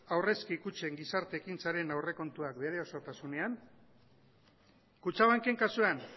aurrezki kutxen gizarte ekintzaren aurrekontuak bere osotasunean kutxabanken kasuan